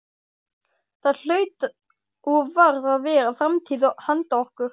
Það hlaut og varð að vera framtíð handa okkur.